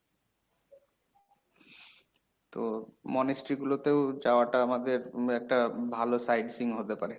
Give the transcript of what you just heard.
তো monastery গুলোতেও যাওয়াটা আমাদের উম একটা ভালো site seeing হতে পারে।